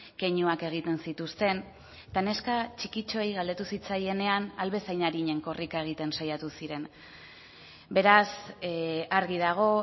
keinuak egiten zituzten eta neska txikitxoei galdetu zitzaienean ahal bezain arinen korrika egiten saiatu ziren beraz argi dago